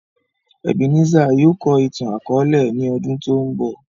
Ebenezer yóò kọ ìtan-àkọọlẹ ni ọ́dun to ńbọ.